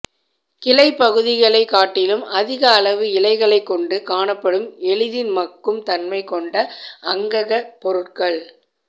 கிளைப்பகுதிகளை காட்டிலும் அதிக அளவு இலைகளை கொண்டு காணப்படும் எளிதில் மட்கும் தன்மை கொண்ட அங்கக பொருட்கள்